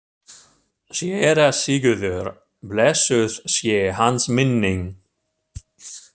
SÉRA SIGURÐUR: Blessuð sé hans minning.